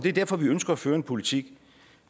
er derfor vi ønsker at føre en politik